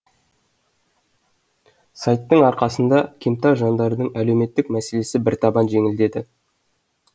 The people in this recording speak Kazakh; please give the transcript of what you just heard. сайттың арқасында кемтар жандардың әлеуметтік мәселесі біртабан жеңілдеді